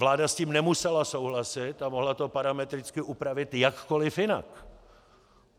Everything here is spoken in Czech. Vláda s tím nemusela souhlasit a mohla to parametricky upravit jakkoliv jinak.